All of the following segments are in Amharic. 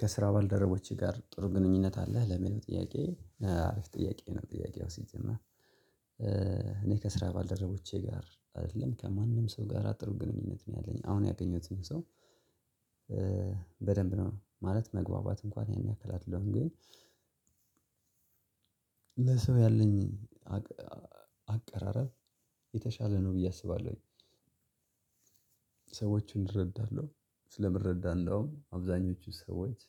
ከስራ ባልደረቦቼ ጋር ጥሩ ግንኙነት አለህ? ለሚለው ጥያቄ :አሪፍ ጥያቄ ነው ጥያቄው ሲጀመር ::እኔ ከስራ ባልደረቦቼ ጋር አይደለም ከማንም ሰው ጋር ጥሩ ግንኙነት ነው ያለኝ አሁን ያገኘሁትን ሰው በደንብ ነው ማለት መግባባት እንኳን ያን አደለሁም ::ግን- ለሰው ያለኝ አቀራረብ የተሻለ ነው ብዬ አስባለሁኝ። ሰዎቹን እረዳለሁ ስለምረዳለሁ አብዛኞቹ ሰዎች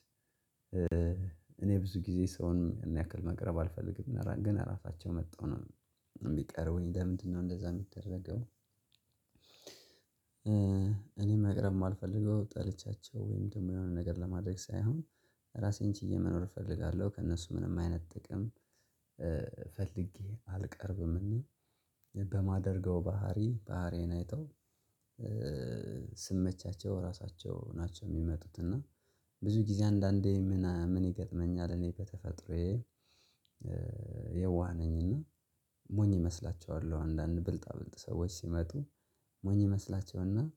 እኔ ብዙ ጊዜ ሰውን ያን ያክል መቅረብ አልፈልግም ግን እራሳቸው መጠው ነው የሚቀርቡኝ ለምንድነው እንደዛ የሚደረገው- እኔ መቅረብ የማልፈልገው ጠልቻቸው ወይም ደግሞ የሆነ ነገር ለማድረግ ሳይሆን ራሴን ችዬ መኖር እፈልጋለሁ ::ከእነሱ ምንም አይነት ጥቅም- ፈልጌ አልቀርብም እና በማደርገው ባህሪ ባህሪን አይተው ስመቻቸው ራሳቸው ናቸው የሚመጡት። እና- ብዙ ጊዜ አንዳንዴ ምን ምን ይገጥመኛል እኔ በተፈጥሮዬ የዋህ ነኝና ሞኝ እመስላቸዋለሁ። አንዳንድ ብልጣ ብልጥ ሰዎች ሲመጡ ሞኝ እመስላቸውና-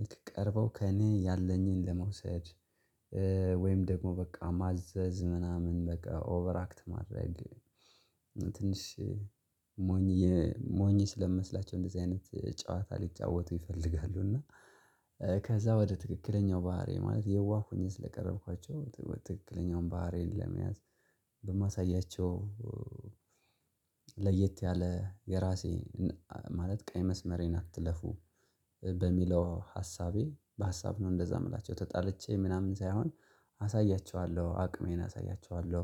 ልክ ቀርበው ከእኔ ያለኝን ለመውሰድ ወይም ደግሞ በቃ ማዘዝ ምናምን በቃ ኦቨርአክት ማድረግ ትንሽ ሞኝ ሞኝ ስለምመስላቸው እንደዚህ አይነት ጨዋታ ሊጫወቱ ይፈልጋሉ ::እና- ከዛ ወደ ትክክለኛው ባህሪዬ ማለት የዋህ ሆኘ ስለቀረብኳቸው ትክክለኛውን ባህሪን ለመያዝ በማሳያቸው- ለየት ያለ የራሴ ማለት ቀይ መስመሬን አትለፉ በሚለው ሀሳቤ በሀሳብ ነው እንደዛ የምላቸው ተጣልቼ ምናምን ሳይሆን- አሳያችኋለሁ አቅሜን አሳያችኋለሁ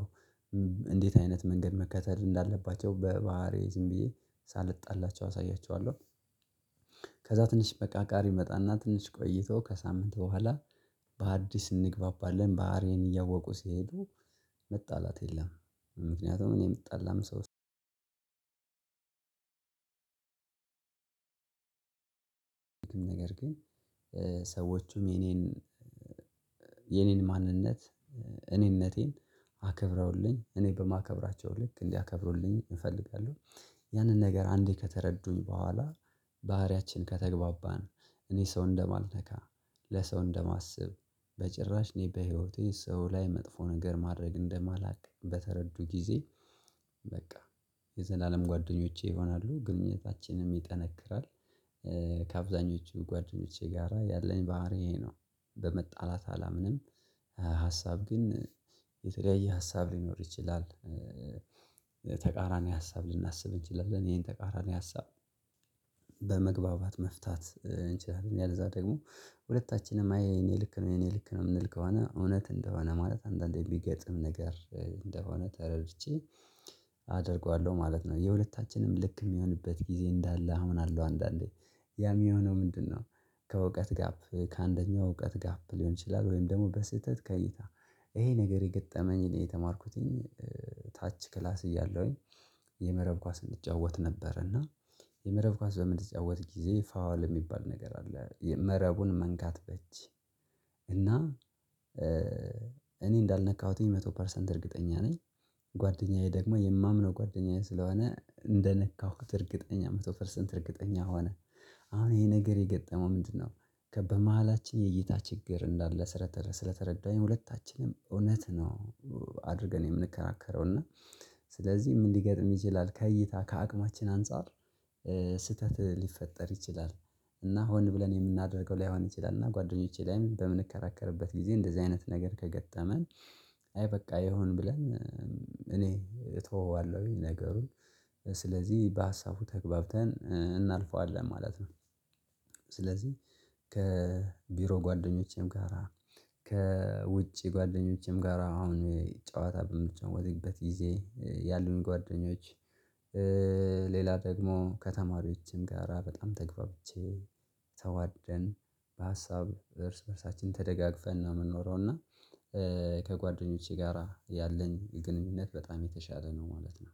እንዴት አይነት መንገድ መከተል እንዳለባቸው በባህሪ ዝም ብዬ ሳልጣላቸው አሳያቸዋለሁ። ከዛ ትንሽ መቃቃር ይመጣና ትንሽ ቆይቶ ከሳምንት በኋላ በአዲስ እንግባባለን ባህሪዬን እያወቁ ሲሄዱ መጣላት የለም። ምክንያቱም እኔ የምጣላም ሰው- ነገር ግን ሰዎቹም የኔን የኔን ማንነት እኔነቴን አከብረውልኝ እኔ በማከብራቸው ልክ እንዲያከብሩልኝ እፈልጋለሁ። ያንን ነገር አንዴ ከተረዱኝ በኋላ- ባህሪያችን ከተግባባን እኔ ሰው እንደማልነካ ለሰው እንደማስብ በጭራሽ እኔ በህይወቴ ሰው ላይ መጥፎ ነገር ማድረግ እንደማላውቅ በተረዱ ጊዜ በቃ የዘላለም ጓደኞቼ ይሆናሉ ::ግንኙነታችንም ይጠነክራል። ከአብዛኞቹ ጓደኞቼ ጋራ ያለኝ ባህሪ ይሄ ነው። በመጣላት አላምንም ሀሳብ ግን የተለያየ ሀሳብ ሊኖር ይችላል። ተቃራኒ ሀሳብ ልናስብ እንችላለን። ይሄን ተቃራኒ ሀሳብ በመግባባት መፍታት እንችላለን ያለዛ ደግሞ ሁለታችንም አይ የኔ ልክ ነው የኔ ልክ ነው የምንል ከሆነ እውነት እንደሆነ ማለት አንዳንዴ የሚገጥም ነገር እንደሆነ ተረድቼ- አደርገዋለሁ ማለት ነው ::የሁለታችንም ልክ የሚሆንበት ጊዜ እንዳለ አምናለሁ ::አንዳንዴ ያም የሆነው ምንድነው ከእውቀት ጋፕ ከአንደኛው እውቀት ጋፕ ሊሆን ይችላል ወይም ደግሞ በስህተት ከይታ ይሄ ነገር የገጠመኝ ላይ የተማርኩትኝ- ታች ክላስ እያለሁኝ የመረብ ኳስ እንጫወት ነበር እና የመረብ ኳስ በምንጫወት ጊዜ ፋዋል የሚባል ነገር አለ መረቡን መንካት በጅ እና- እኔ እንዳልነካሁትኝ መቶ ፐርሰንት እርግጠኛ ነኝ ጓደኛዬ ደግሞ የማምነው ጓደኛዬ ስለሆነ እንደነካሁት እርግጠኛ መቶ ፐርሰንት እርግጠኛ ሆነ- አሁን ይሄ ነገር የገጠመው ምንድነው? ከበመሃላችን የእይታ ችግር እንዳለ ስለተረዳኝ ሁለታችንም እውነት ነው- አድርገን የምንከናከረው እና ስለዚህ ምን ሊገጥም ይችላል ከእይታ ከአቅማችን አንፃር- ስህተት ሊፈጠር ይችላል። እና ሆን ብለን የምናደርገው ላይሆን ይችላል እና ጓደኞቼ ላይም በምንከራከርበት ጊዜ እንደዚህ አይነት ነገር ከገጠመን- አይ በቃ ይሁን ብለን- እኔ እተወዋለሁኝ ነገሩን ስለዚህ በሀሳቡ ተግባብተን እናልፈዋለን ማለት ነው። ስለዚህ ከቢሮ ጓደኞቼም ጋራ: ከውጪ ጓደኞቼም ጋራ አሁን ጨዋታ በምንጫወትበት ጊዜ ያሉን ጓደኞች ሌላ ደግሞ ከተማሪዎችም ጋራ በጣም ተግባብቼ- ተዋደን በሀሳብ እርስ በእርሳችን ተደጋግፈን ነው የምንኖረው። እና- ከጓደኞቼ ጋራ ያለን ግንኙነት በጣም የተሻለ ነው ማለት ነው።